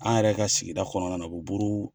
An yɛrɛ ka sigida kɔnɔna na o bɛ buru